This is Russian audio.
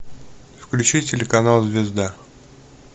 включи телеканал звезда